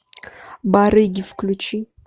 барыги включи